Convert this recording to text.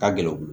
Ka gɛlɛn u bolo